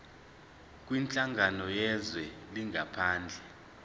kwinhlangano yezwe langaphandle